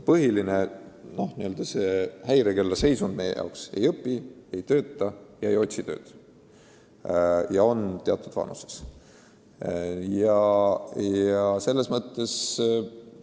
Põhiline n-ö häirekellaseisund on meie silmis see, kui teatud vanuses inimene ei õpi ega tööta ega otsi tööd.